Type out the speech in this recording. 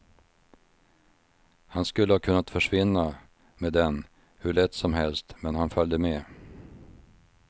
Han skulle ha kunnat försvinna med den hur lätt som helst men han följde med.